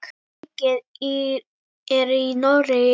Leikið er í Noregi.